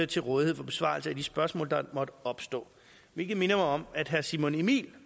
til rådighed for besvarelse af de spørgsmål der måtte opstå hvilket minder mig om at herre simon emil